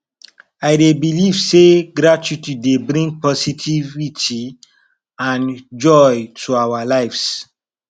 i dey believe say gratitude dey bring positivity and joy to our lives